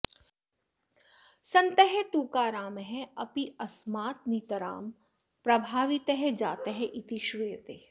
सन्तः तुकारामः अपि अस्मात् नितरां प्रभावितः जातः इति श्रूयते